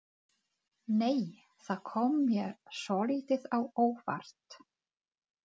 Nei! Það kom mér svolítið á óvart!